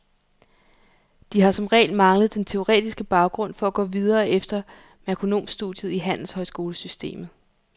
De har som regel manglet den teoretiske baggrund for at gå videre efter merkonomstudiet i handelshøjskolesystemet.